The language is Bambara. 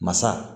Masa